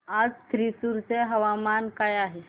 आज थ्रिसुर चे हवामान काय आहे